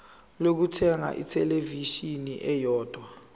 lokuthenga ithelevishini eyodwa